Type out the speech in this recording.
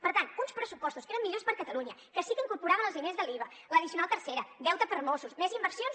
per tant uns pressupostos que eren millors per a catalunya que sí que incorporaven els diners de l’iva l’addicional tercera deute per mossos més inversions